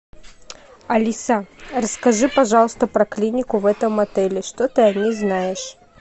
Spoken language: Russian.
алиса расскажи пожалуйста про клинику в этом отеле что ты о ней знаешь